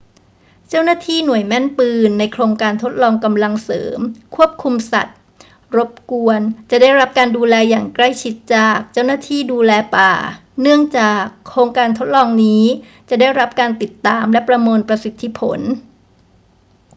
เจ้าหน้าที่หน่วยแม่นปืนในโครงการทดลองกำลังเสริมควบคุมสัตว์รบกวนจะได้รับการดูแลอย่างใกล้ชิดจาก เจ้าหน้าที่ดูแลป่า เนื่องจากโครงการทดลองนี้จะได้รับการติดตามและประเมินประสิทธิผล